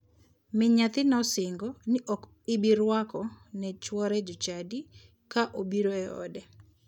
Min nyathi ne osingo ni ok ibirwako ne chuore jochadi ka obiro e ode.